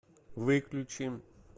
выключи